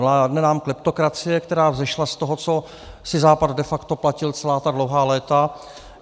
Vládne nám kleptokracie, která vzešla z toho, co si Západ de facto platil celá ta dlouhá léta.